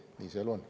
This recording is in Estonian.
Nii see elu on.